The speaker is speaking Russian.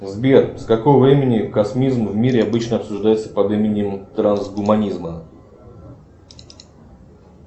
сбер с какого времени космизм в мире обычно обсуждается под именем трансгуманизма